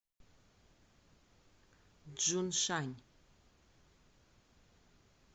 чжуншань